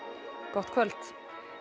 gott kvöld